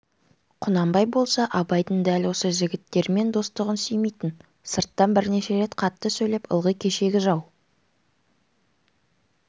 құнанбай болса абайдың дәл осы жігіттермен достығын сүймейтін сырттан бірнеше рет қатты сөйлеп ылғи кешегі жау